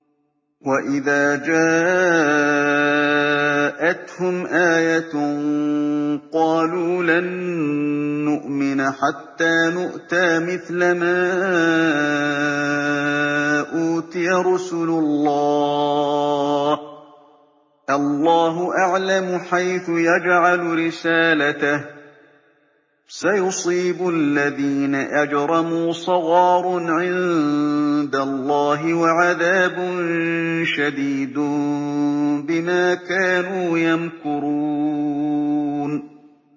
وَإِذَا جَاءَتْهُمْ آيَةٌ قَالُوا لَن نُّؤْمِنَ حَتَّىٰ نُؤْتَىٰ مِثْلَ مَا أُوتِيَ رُسُلُ اللَّهِ ۘ اللَّهُ أَعْلَمُ حَيْثُ يَجْعَلُ رِسَالَتَهُ ۗ سَيُصِيبُ الَّذِينَ أَجْرَمُوا صَغَارٌ عِندَ اللَّهِ وَعَذَابٌ شَدِيدٌ بِمَا كَانُوا يَمْكُرُونَ